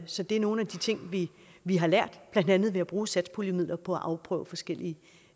så det er nogle af de ting vi har lært blandt andet ved at bruge satspuljemidlerne på at afprøve forskellige